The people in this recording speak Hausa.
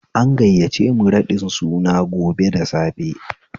An gayyace mu raɗin suna gobe da safe